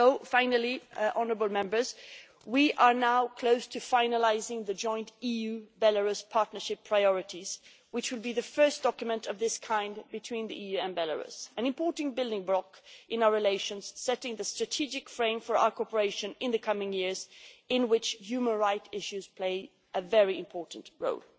Finally, honourable Members, we are now close to finalising the joint EU Belarus partnership priorities, which will be the first document of this kind between the EU and Belarus an important building block in our relations, setting the strategic frame for our cooperation in the coming years, in which human rights issues play a very important role.